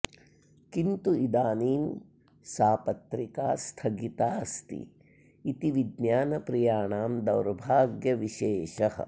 किन्तु इदानी सा पत्रिका स्थगिता अस्ति इति विज्ञानप्रियाणां दौर्भाग्यविशेषः